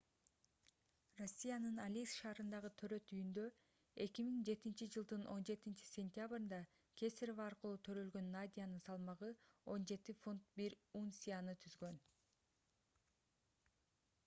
россиянын алейск шаарындагы төрөт үйүндө 2007-жылдын 17-cентябрында кесарево аркылуу төрөлгөн надянын салмагы 17 фунт 1 унцияны түзгөн